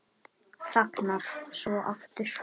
Þagnar svo aftur.